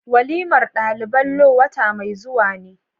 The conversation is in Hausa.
waliman dalibai law wata mai zuwa ne.